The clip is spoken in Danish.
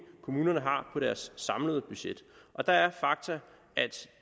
kommunerne har på deres samlede budget og der er fakta at